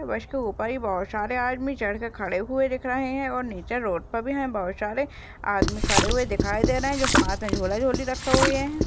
बस के ऊपर ही बोहोत सारे आदमी चढ़के खड़े हुए दिख रहे है और निचे रोड पर भी है बोहोत सारे आदमी खड़े हुए दिखाई दे रहे है जो हाथ मे झोला झोली रखे हुए है।